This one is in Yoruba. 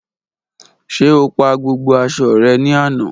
Ṣe o pa gbogbo aṣọ rẹ ni ana?